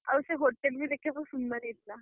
ଆଉ ସେ hotel ବି ଦେଖିଆକୁ ସୁନ୍ଦର ହେଇଥିଲା।